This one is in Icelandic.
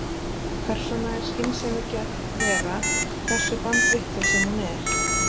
Persóna er skynsemi gædd vera, hversu bandvitlaus sem hún er.